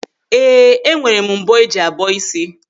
Ee, enwere m mbọ́ eji abọ ịsị.